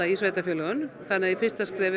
sveitarfélögunum í fyrsta skrefi